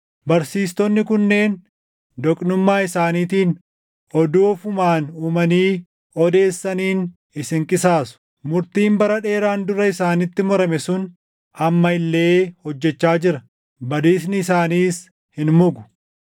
Barsiistonni kunneen doqnummaa isaaniitiin oduu ofumaan uumanii odeessaniin isin qisaasu. Murtiin bara dheeraan dura isaanitti murame sun amma illee hojjechaa jira; badiisni isaaniis hin mugu.